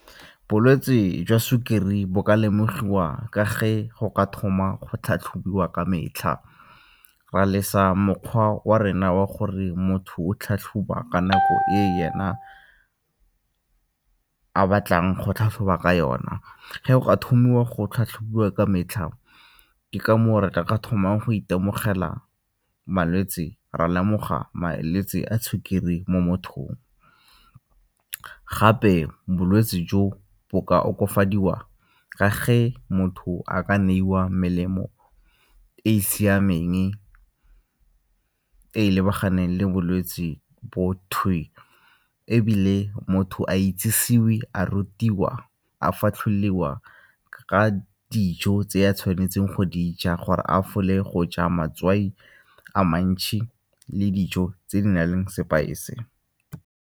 Bolwetsi jwa sukiri bo ka lemogiwa ka ge go ka thoma go tlhatlhobiwa ka metlha ra lesa mokgwa wa rena wa gore motho o tlhatlhoba ka nako e yena a batlang go tlhatlhoba ka yona. Ge go ka thomiwa go tlhatlhobiwa ka metlha ke ka moo re ka thomang go itemogela malwetse, ra lemoga malwetse a sukiri mo mothong. Gape bolwetse jo bo ka okafadiwa ka ge motho a ka neiwa melemo e e siameng e lebaganeng le bolwetse bo ebile motho a itsisiwe, a rutiwa, a fatlhololiwa ka dijo tse a tshwanetseng go di ja gore a gafole go ja matswai a mantšhi le dijo tse di na leng sepaese.